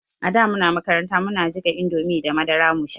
Ada muna makaranta muna jiƙa indomie da madara mu sha